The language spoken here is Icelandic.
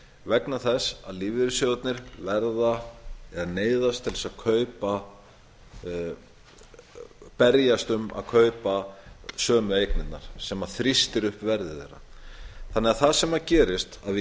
vegna þess að lífeyrissjóðirnir verða eða neyðast til þess að kaupa berjast um að kaupa sömu eignirnar sem þrýstir upp verði þeirra það sem gerist er að við